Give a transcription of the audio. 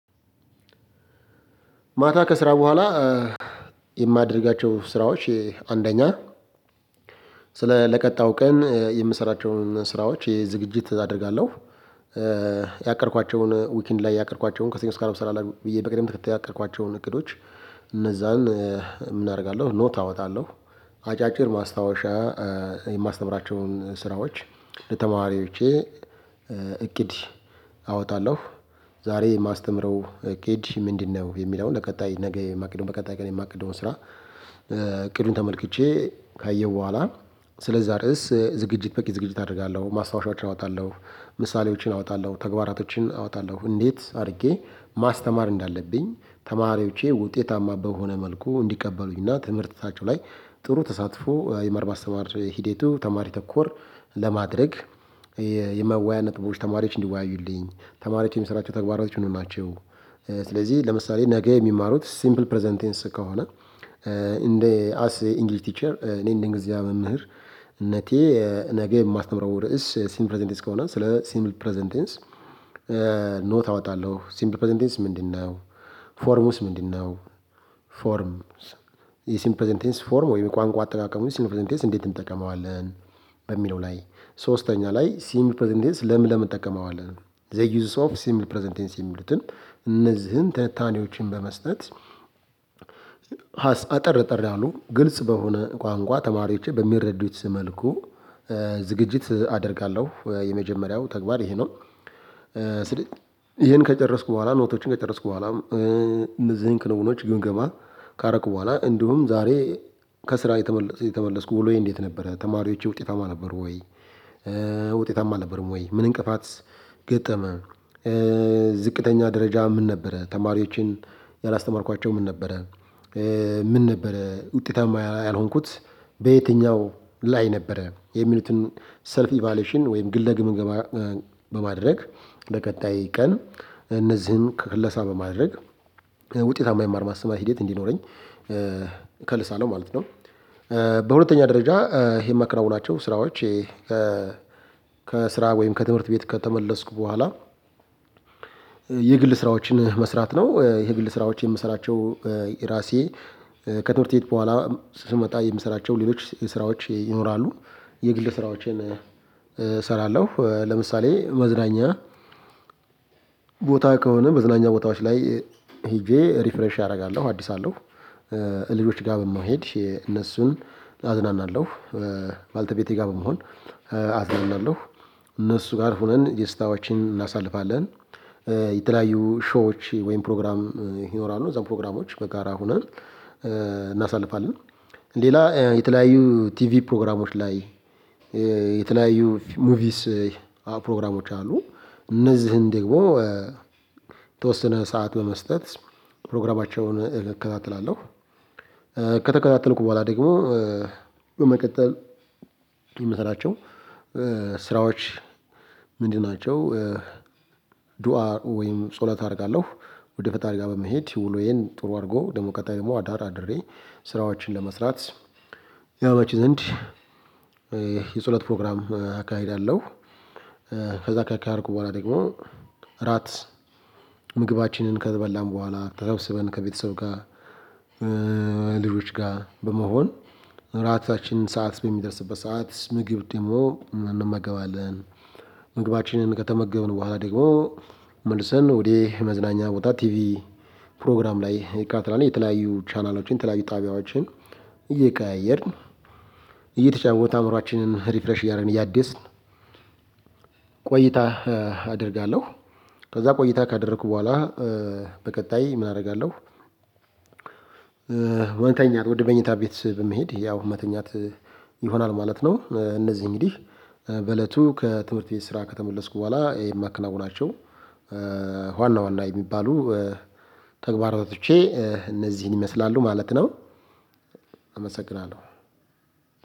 ማታ ከስራ በኋላ የማደርጋቸው ስራዎች አንደኛ ለቀጣዩ ቀን የምሰራቸውን ስራዎች ዝግጅት አደርጋለሁ። ያቀደኳቸውን ዊኪንድ ላይ ያቀድኳቸውን ከስኞ እስከ አረብ ስራ ላይ ብዬ በቅደም ተከተል ያቀድኳቸውን እቅዶች እነዛን ምን አደርጋለሁ ኖት አወጣለሁ? አጫጭር ማስታወሻ የማስተምራቸውን ስራዎች ለተማሪዎቼ እቅድ አወጣለሁ። ዛሬ የማስተምረው እቅድ ምንድነው የሚለውን ለቀጣይ ነገ የማቅድው በቀጣይ ቀን የማቅድው ስራ እቅዱን ተመልክቼ ካየሁ በኋላ ስለዛ ርዕስ ዝግጅት በቂ ዝግጅት አደርጋለሁ ማስታወሻዎችን አወጣለሁ ምሳሌዎችን አወጣለሁ ተግባራቶችን አወጣለሁ እንዴት አድርጌ ማስተማር እንዳለብኝ ተማሪዎቼ ውጤታማ በሆነ መልኩ እንዲቀበሉኝና እና ትምህርትታችው ላይ ጥሩ ተሳትፎ የመማር ማስተማር ሂደቱ ተማሪ ተኮር ለማድረግ የመዋያ ነጥቦች ተማሪዎች እንዲዋዩልኝ ተማሪዎች የሚሰሯቸው ተግባራቶች ምን ምን ናቸው? ስለዚህ ለምሳሌ ነገ የሚማሩት ሲምፕል ፕረዘንት ቴንስ ከሆነ እንደ አስ ኢ ኢንግሊሽ ቲቸር እኔ እንደእንግሊዚኛ መምህርነቴ ነገ የማስተምረው ርዕስ ሲምል ፕረዘት ንቴንስ ከሆነ ስለ ሲምል ፕረዘንት ቴንስ አወጣለሁ ሲምፕል ፕረዘንት ቴንስ ምንድነው? ፎርሙስ ምንድነው? ፎርም የሲምፕል ፕረዘንቴንስ ፎርም ወይም የቋንቋ አጠቃቀሙ ሲምፕል ፕረዘንት ቴንስ እንዴት እንጠቀመዋለን? በሚለው ላይ ሶስተኛ ላይ ሲምፕል ፕረዘንቴንስ ለምን ለምን እንጠቀመዋለን? ዘይ ዪዝስ ኦፍ ሲምፕል ፕረዘንትቴንስ የሚሉትን እነዚህን ታንታኔዎችን በመስጠት አጠር አጠር ያሉ ግልጽ በሆነ ቋንቋ ተማሪዎች በሚረዱት መልኩ ዝግጅት አደርጋለሁ። የመጀመሪያው ተግባር ይሄ ነው። ይሄን ከጨረስኩ በኋላ ኖቶችን ከጨረስኩ በኋላ እንደዚህ ክንውኖች ግም ገማ ካረኩ በኋላ እንዲሁም ዛሬ ከስራ የተመለስኩ ዉሎዬ እንዴት ነበረ ተማሪዎቼ ውጤታማ ነበሩ ወይ? ውጤታማ አልነበረም ወይ ምን እንቅፋት ገጠመ። ዝቅተኛ ደረጃ ምን ነበረ ተማሪዎችን ያላስተማርኳቸው ምን ነበረ? ምን ነበረ ውጤታማ ያልሆንኩት በየትኛው ላይ ነበረ? የሚሉትን ሰልፍ ኢቫሌዎሽን ወይም ግለ ግምገማ። በማድረግ ወደ በቀጣይ ቀን እነዚህን ክለሳ በማድረግ ውጤታማ የመማር ማስተማር ሂደት እንዲኖረኝ ከልሳለው ማለት ነው። በሁለተኛ ደረጃ ይሄን ማከናዉናቸው ስራዎች ከስራ ወይም ከትምህርት ቤት ከተመለስኩ በኋላ የግል ስራዎችን መስራት ነው። የግል ስራዎች የምሰራቸው ራሴ ከትምህርት ቤት በኋላ ስመጣ የምሰራቸው ሌሎች ስራዎች ይኖራሉ። የግል ስራዎችን እሰራለሁ ለምሳሌ መዝናኛ ቦታ ከሆነ መዝናኛ ቦታዎች ላይ ሄጄ ሪፍሬሽ አደርጋለሁ አድስ አለሁ ልጆች ጋር በመሄድ የእነሱን አዝናናለሁ። ባለቤቴ ጋር በመሆን አዝናናለሁ። እነሱ ጋር ሆነን ደስታዎችን እናሳልፋለን የተለያዩ ሾዎች ወይም ፕሮግራም ይኖራሉ እዛው ፕሮግራሞች በጋራ ሆነን እናሳልፋለን። ሌላ የተለያዩ ቲቪ ፕሮግራሞች ላይ የተለያዩ ሙቪስ ፕሮግራሞች አሉ። እነዚህን ደግሞ ተወስነ ሰዓት በመስጠት ፕሮግራማቸውን እከታተላለሁ። ከተከታተልኩ በኋላ ደግሞ በመቀጠል የምሰራቸው ስራዎች ምንድን ናቸው? ዱአ ወይም ጸሎት አደርጋለሁ። ወደ ፈጣሪ ጋር በመሄድ ውሎዬን ጥሩ አድርጎ ደግሞ ቀጣይ ደግሞ አዳር አድሬ ስራዎችን ለመስራት ያውምቺ ዘንድ የጸሎት ፕሮግራም አካሄድ አለው። ከዛ ካካሄድኩ በኋላ ደግሞ ራት ምግባችንን ከበላን በኋላ ተሰብስበን ከቤተሰብ ጋር ልጆች ጋር በመሆን ራታችንን ሰዓት በሚደርስበት ሰዓት ምግብ ደግሞ እንመገባለን። ምግባችንን ከተመገብን በኋላ ደግሞ መልሰን ወደ መዝናኛ ቦታ ቲቪ ፕሮግራም ላይ እንከታተላን የተለያዩ ቻናላችን የተለያዩ ጣቢያዎችን እየቀያየርን እየተጫወተ አእምሮአችንን ሪፍሬሽ እያረግን እያደስን ቆይታ አደርጋለሁ። ከዛ ቆይታ ካደረኩ በኋላ በቀጣይ ምን አደርጋለሁ? መተኛት ወደ መኝታ ቤት በመሄድ ያው መተኛት ይሆናል ማለት ነው። እነዚህ እንግዲህ በእለቱ ከትምህርት ቤት ስራ ከተመለስኩ በኋላ የማከናዉናቸው ዋና ዋና የሚባሉ ተግባራቶቼ እነዚህን ይመስላሉ ማለት ነው። አመሰግናለሁ